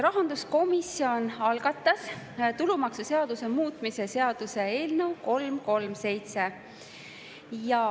Rahanduskomisjon algatas tulumaksuseaduse muutmise seaduse eelnõu 337.